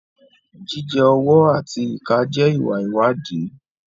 Jíjẹ ọwọ́ àti ìka jẹ́ ìwà ìwádìí.